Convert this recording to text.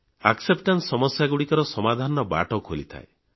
acceptance ସମସ୍ୟାଗୁଡ଼ିକର ସମାଧାନର ବାଟ ଖୋଲିଥାଏ